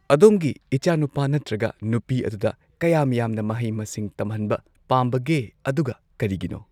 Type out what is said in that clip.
ꯑꯗꯣꯝꯒꯤ ꯏꯆꯥꯅꯨꯄꯥ ꯅꯠꯇ꯭ꯔꯒ ꯅꯨꯄꯤ ꯑꯗꯨꯗ ꯀꯌꯥꯝ ꯌꯥꯝꯅ ꯃꯍꯩ ꯃꯁꯤꯡ ꯇꯝꯍꯟꯕ ꯄꯥꯝꯕꯒꯦ ꯑꯗꯨꯒ ꯀꯔꯤꯒꯤꯅꯣ